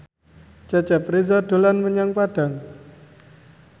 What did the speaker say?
Cecep Reza dolan menyang Padang